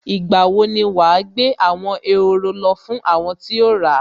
Ìgbà wo ni wà á gbé àwọn ehoro lọ fún àwọn tí o ra?